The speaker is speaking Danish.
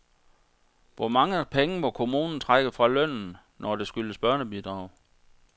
Hvor mange penge må kommunen trække fra lønnen, når der skyldes børnebidrag?